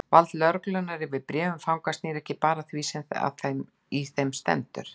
Vald lögreglunnar yfir bréfum fanga snýr ekki bara að því sem í þeim stendur.